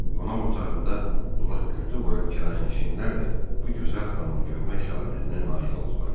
Qonaq otağımda laqqırtı vuran kirayənişinlər də bu gözəl xanımı görmək səadətinə nail oldular.